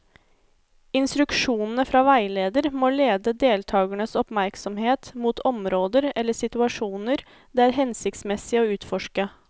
Instruksjonene fra veileder må lede deltakernes oppmerksomhet mot områder eller situasjoner det er hensiktsmessig å utforske.